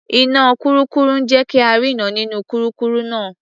Iná kurúkurù ń jé ka rínran nínú kurúkurù náà.